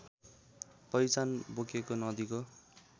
पहिचान बोकेको नदीको